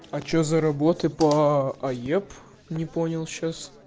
а что за работы по аеп не понял сейчас